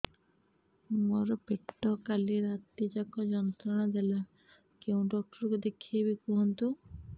ମୋର ପେଟ କାଲି ରାତି ଯାକ ଯନ୍ତ୍ରଣା ଦେଲା କେଉଁ ଡକ୍ଟର ଙ୍କୁ ଦେଖାଇବି କୁହନ୍ତ